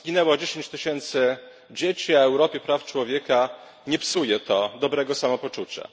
Zginęło 10 tysięcy dzieci, a Europie praw człowieka nie psuje to dobrego samopoczucia.